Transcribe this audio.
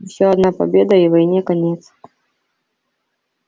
ещё одна победа и войне конец